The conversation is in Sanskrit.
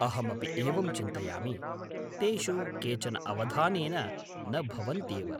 अहमपि एवं चिन्तयामि, तेषु केचन अवधानेन न भवन्त्येव।